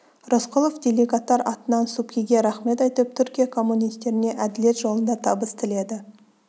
рысқұлов делегаттар атынан субхиге рақмет айтып түркия коммунистеріне әділет жолында табыс тіледі